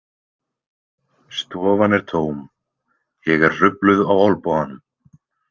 Stofan er tóm, ég er hrufluð á olnboganum.